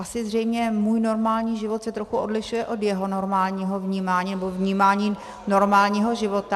Asi zřejmě můj normální život se trochu odlišuje od jeho normálního vnímání, nebo vnímání normálního života.